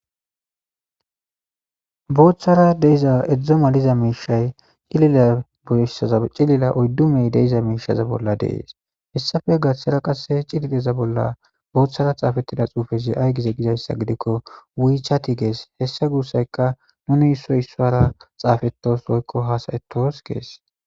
Booththara deiza edzdzo maliza miishay cilila ossaza cilila oddumey deiza miishaza bolla dees hessafe gathshera qasse cilileza bolla booththara xaafettida xuufezi ay gize gizayssa gidikko wii chati gees hessa gurssayka nuni issoy issaara xaafetos woykko haasayetos kees.